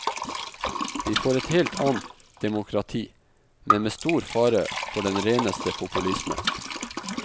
Vi får et helt annet demokrati, men med stor fare for den reneste populisme.